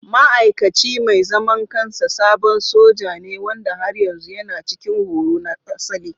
Ma'aikaci mai zaman kansa sabon soja ne wanda har yanzu yana cikin horo na asali.